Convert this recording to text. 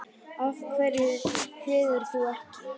Af hverju þegir þú ekki?